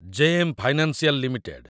JM financial limited